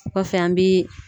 O kɔfɛ , an bi